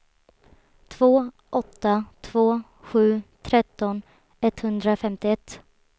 två åtta två sju tretton etthundrafemtioett